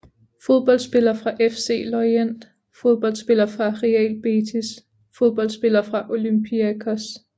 Fodboldspillere fra FC Lorient Fodboldspillere fra Real Betis Fodboldspillere fra Olympiakos